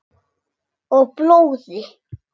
Og blóði.